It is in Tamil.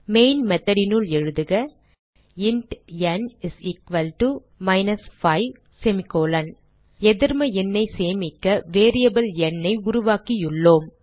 மெயின் method னுள் எழுதுக இன்ட் ந் மைனஸ் 5 எதிர்ம எண்ணை சேமிக்க வேரியபிள் n ஐ உருவாக்கியுள்ளோம்